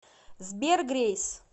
сбер грейс